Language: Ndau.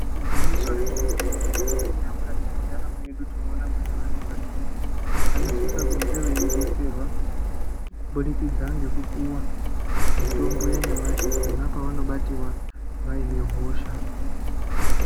Iginyiso remene-mene, tikaningira mukati mwendaramo yedu tinona kuti vantu vazhinji vanosise kunge veibetserwa. Kubudikidza ngekupuva mitombo yanyamashi pona pawanobativa vaine hosha.